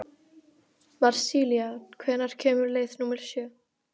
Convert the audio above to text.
Marsilía, hvenær kemur leið númer sjö?